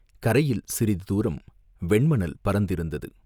கரையில் சிறிது தூரம் வெண்மணல் பரந்திருந்தது.